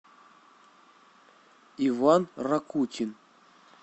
иван ракутин